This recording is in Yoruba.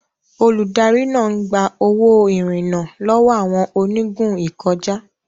Olùdarí náà ń gba owó ìrìnnà lọ́wọ́ àwọn onígun ìkọjá.